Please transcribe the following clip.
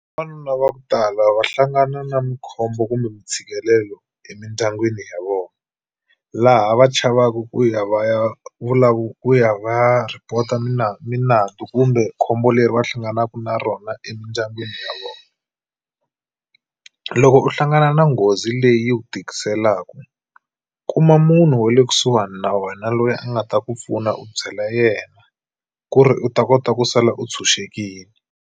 Vavanuna va ku tala va hlangana na mukhombo kumbe mintshikelelo emindyangwini ya vona laha va chavaku ku ya va ya ku ya va ya report-a minandzu kumbe khombo leri va hlanganaku na rona emindyangwini ya vona loko u hlangana na nghozi leyi yi ku tikiselaku kuma munhu wa le kusuhani na wena loyi a nga ta ku pfuna u byela yena ku ri u ta kota ku sala u tshunxekile.